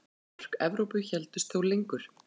Mörk Evrópu héldust þó lengur.